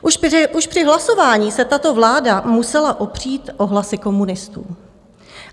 Už při hlasování se tato vláda musela opřít o hlasy komunistů.